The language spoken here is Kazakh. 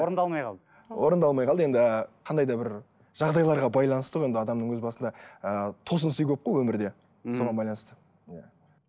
орындалмай қалды орындалмай қалды енді қандай да бір жағдайларға байланысты ғой енді адамның өз басында ыыы тосын сый көп қой өмірде мхм соған байланысты иә